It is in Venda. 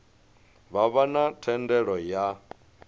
vha vha na thendelo ya